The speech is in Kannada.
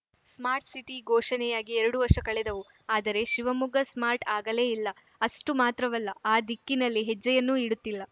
ಸ್ಮಾರ್ಟ್‌ಸಿಟಿ ಘೋಷಣೆಯಾಗಿ ಎರಡು ವರ್ಷ ಕಳೆದವು ಆದರೆ ಶಿವಮೊಗ್ಗ ಸ್ಮಾರ್ಟ್‌ ಆಗಲೇ ಇಲ್ಲ ಅಷ್ಟುಮಾತ್ರವಲ್ಲ ಆ ದಿಕ್ಕಿನಲ್ಲಿ ಹೆಜ್ಜೆಯನ್ನೂ ಇಡುತ್ತಿಲ್ಲ